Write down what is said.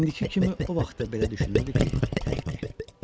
İndiki kimi o vaxt da belə düşünürdü ki, təkdir.